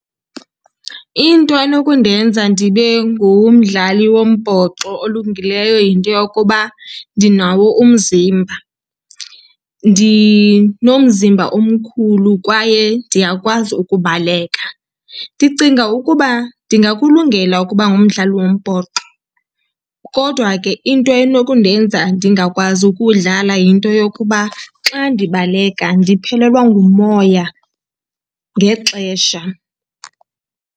Into enokundenza ndibe ngumdlali wombhoxo olungileyo yinto yokuba ndinawo umzimba. Ndinomzimba omkhulu kwaye ndiyakwazi ukubaleka. Ndicinga ukuba ndingakulungela ukuba ngumdlali wombhoxo, kodwa ke into enokundenza ndingakwazi ukudlala yinto yokuba xa ndibaleka ndiphelelwa ngumoya ngexesha.